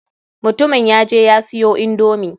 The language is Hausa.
Mutumin ya je ya siyo indomi.